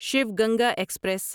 Shiv Ganga express